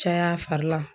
Caya fari la